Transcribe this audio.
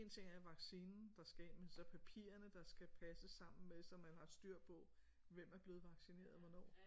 En ting er vaccinen der skal ind men så papirerne der skal passe sammen med så man har et styr på hvem er blevet vaccineret og hvornår